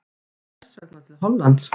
En hvers vegna til Hollands?